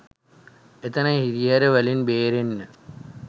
එතන හිරිහැර වලින් බේරෙන්න